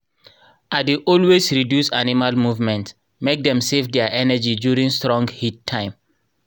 i dey always reduce animal movement make dem save their energy during strong heat time.